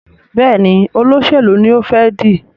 Béèni Olóṣèlú ní o fè dì.